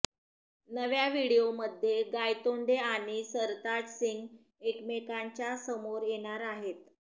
नव्या व्हिडिओमध्ये गायतोंडे आणि सरताज सिंग एकमेकांच्या समोर येणार आहेत